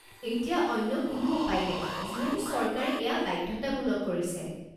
এতিয়া অন্য কোনো উপায় নাই যিহেতু চৰকাৰে এয়া বাধ্যতামূলক কৰিছে।